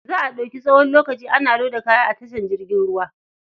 Za a ɗauki tsawon lokaci ana loda kaya a tashar jirgin ruwa.